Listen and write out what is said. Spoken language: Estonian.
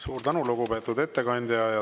Suur tänu, lugupeetud ettekandja!